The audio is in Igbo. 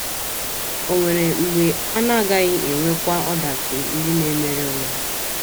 Ò nwere mgbe a na - agaghị enwekwa ọdachi ndị na - emere onwe ha?